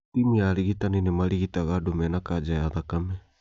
Timũ ya arigitani nĩmarigitaga andũ mena kanja ya thakame